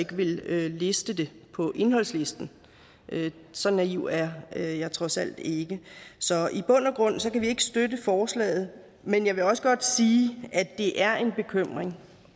listet på indholdslisten så naiv er jeg jeg trods alt ikke så i bund og grund kan vi ikke støtte forslaget men jeg vil også godt sige at det er en bekymring